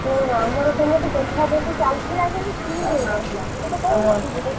ଶୁଣ ଆମର ଏପଟେ ଦେଖା ଦେଖି ଚାଲିଥିଲା ଯେ ଠିକ ହେଇନଥିଲା ମୁଁ ତତେ କହୁନଥିଲି କି?